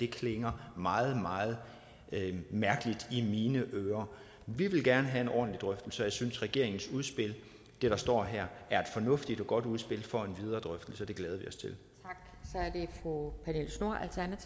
klinger meget meget mærkeligt i mine ører vi vil gerne have en ordentlig drøftelse og jeg synes regeringens udspil det der står her er et fornuftigt og godt udspil for en videre drøftelse og